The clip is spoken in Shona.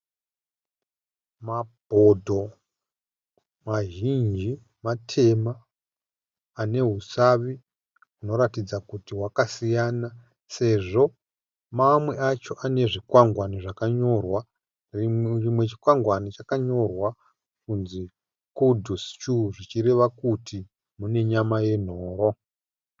Mabhodho mazhinji mateam ane husavi hunoratidaza kuti hwakasiyana sezvo mamwe acho ane zvikwangwani zvakanyorwa. Chimwe chikwangwani chacho chkanyorwa kunzi "kudu Stew " zvichireva kuti mune nyama yenhoro